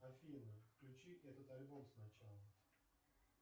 афина включи этот альбом с начала